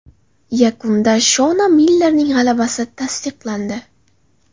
Yakunda Shona Millerning g‘alabasi tasdiqlandi.